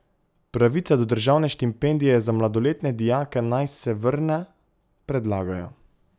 Pravica do državne štipendije za mladoletne dijake naj se vrne, predlagajo.